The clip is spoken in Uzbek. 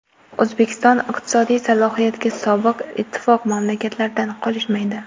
O‘zbekiston iqtisodiy salohiyatda sobiq ittifoq mamlakatlaridan qolishmaydi.